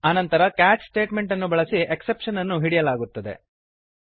ಆನಂತರ ಕ್ಯಾಚ್ ಸ್ಟೇಟಮೆಂಟನ್ನು ಬಳಸಿ ಎಕ್ಸೆಪ್ಶನ್ ಅನ್ನು ಹಿಡಿಯಲಾಗುತ್ತದೆ